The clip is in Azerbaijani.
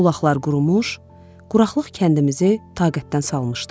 Bulaqlar qurumuş, quraqlıq kəndimizi taqətdən salmışdı.